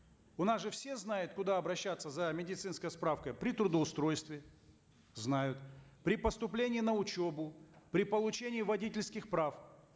у нас же все знают куда обращаться за медицинской справкой при трудоустройстве знают при поступлении на учебу при получении водительских прав